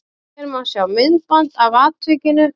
Hér má sjá myndband af atvikinu